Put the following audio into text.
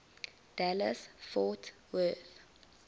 dallas fort worth